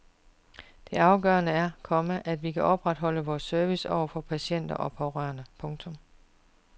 Det afgørende er, komma at vi kan opretholde vores service over for patienter og pårørende. punktum